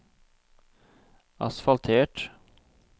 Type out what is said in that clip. asfaltert